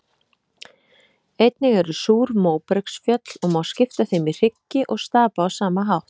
Einnig eru súr móbergsfjöll og má skipta þeim í hryggi og stapa á sama hátt.